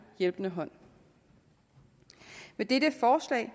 hjælpende hånd med dette forslag